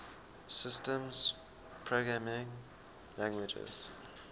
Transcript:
systems programming languages